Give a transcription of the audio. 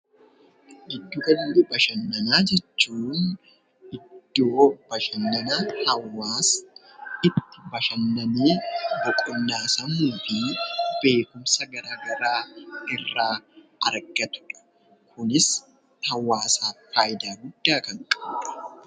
Giddugala Bashannanaa jechuun iddoo bashannanaa hawwaasaa itti bashannananii iddoo boqonnaa sammuu fi beekumsa gara garaa irraa argatudha. Kunis hawaasaaf faayidaa gudda kan qabudha.